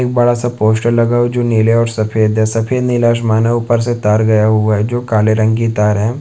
एक बड़ा सा पोस्टर लगा हुआ है जो नीले और सफेद है सफेद नीला आसमान है ऊपर से तार गया हुआ है जो काले रंग की तार है ।